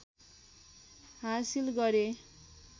हासिल गरे